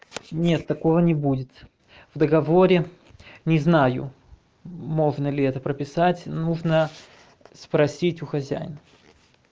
нет такого не будет в договоре не знаю можно ли это прописать нужно спросить у хозяина